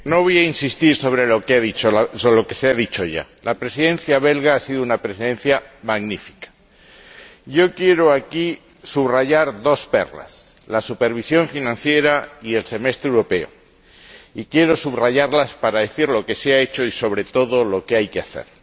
Señor Presidente, no voy a insistir sobre lo que se ha dicho ya. La Presidencia belga ha sido una Presidencia magnífica. Quiero aquí subrayar dos perlas la supervisión financiera y el semestre europeo. Y quiero subrayarlas para decir lo que se ha hecho y, sobre todo, lo que hay que hacer.